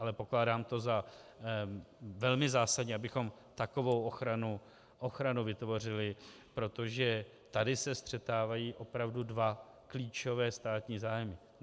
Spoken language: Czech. Ale pokládám to za velmi zásadní, abychom takovou ochranu vytvořili, protože tady se střetávají opravdu dva klíčové státní zájmy.